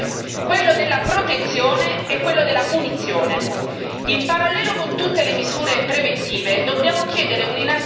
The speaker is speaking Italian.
Dobbiamo dunque agire, oggi, su tre campi quello della prevenzione, quello della protezione e quello della punizione.